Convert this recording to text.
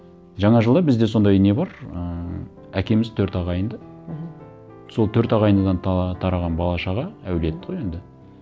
жаңа жылда бізде сондай не бар ыыы әкеміз төрт ағайынды мхм сол төрт ағайыннан тараған бала шаға әулет қой енді